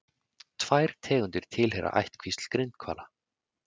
Tvær tegundir tilheyra ættkvísl grindhvala.